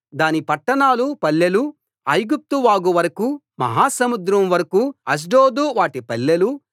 దాని పట్టణాలు పల్లెలు ఐగుప్తు వాగు వరకూ మహా సముద్రం వరకూ అష్డోదు వాటి పల్లెలు